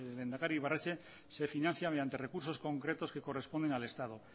lehendakari ibarretxe se financia mediante recursos concretos que corresponden al estado